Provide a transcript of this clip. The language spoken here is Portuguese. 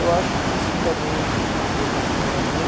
Eu acho que isso também foi um presente para minha mãe.